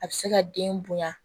A bɛ se ka den bonya